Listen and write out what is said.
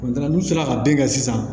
n'u sera ka den kɛ sisan